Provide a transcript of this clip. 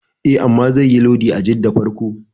E, amma zaiyi lodi a Jidda farko.